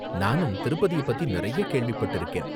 நானும் திருப்பதிய பத்தி நிறைய கேள்விப்பட்டிருக்கேன்.